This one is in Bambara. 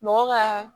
Mɔgɔ ka